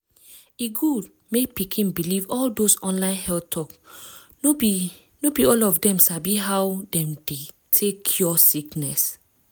e good mek pikin believe all dose online health talk no be be all of dem sabi how dem de take cure sickness.